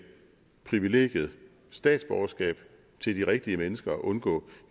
privilegiet statsborgerskab til de rigtige mennesker og at undgå